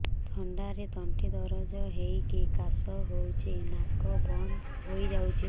ଥଣ୍ଡାରେ ତଣ୍ଟି ଦରଜ ହେଇକି କାଶ ହଉଚି ନାକ ବନ୍ଦ ହୋଇଯାଉଛି